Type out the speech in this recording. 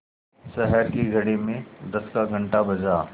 शहर की घड़ी में दस का घण्टा बजा